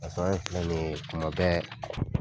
filɛ nin ye tuma bɛɛ